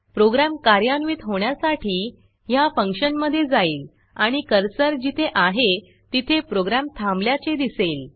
program कार्यान्वित होण्यासाठी ह्या फंक्शनमधे जाईल आणि कर्सर जिथे आहे तिथे प्रोग्रॅम थांबल्याचे दिसेल